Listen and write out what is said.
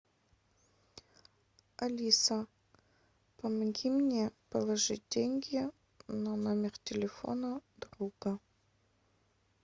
алиса помоги мне положить деньги на номер телефона друга